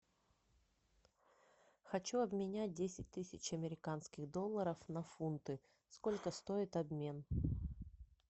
хочу обменять десять тысяч американских долларов на фунты сколько стоит обмен